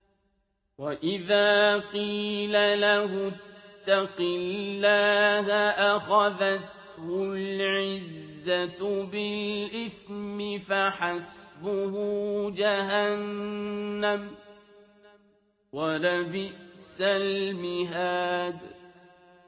وَإِذَا قِيلَ لَهُ اتَّقِ اللَّهَ أَخَذَتْهُ الْعِزَّةُ بِالْإِثْمِ ۚ فَحَسْبُهُ جَهَنَّمُ ۚ وَلَبِئْسَ الْمِهَادُ